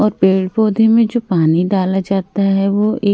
और पेड़ पौधे में जो पानी डाला जाता हैं वो एक --